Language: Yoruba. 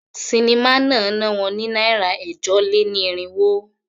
Sinimá náà ná wọn ní náírà ẹ̀jọ-lé-ní-irínwó.